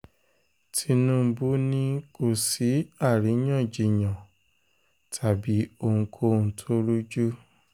tinúbú ni kò sí kò sí àríyànjiyàn tàbí ohunkóhun tó rújú